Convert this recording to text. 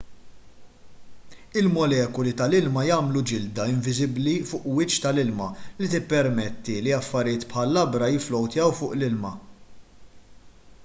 il-molekuli tal-ilma jagħmlu ġilda inviżibbli fuq il-wiċċ tal-ilma li tippermetti li affarijiet bħal labra jifflowtjaw fuq l-ilma